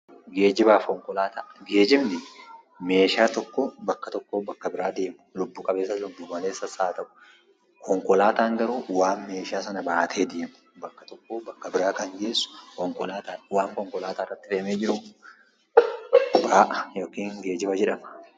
Geejjibni meeshaa tokko bakka tokkoo bakka biraa deemu, lubbu qabeessas lubbu maleessas haa ta'u. Konkolaataan garuu waan meeshaa sana baatee deemu, bakka tokkoo bakka biraa kan geessu konkolaataadha. Waan konkolaataa irratti fe'amee jiru immoo ba'aa yookiin geejjiba jedhama.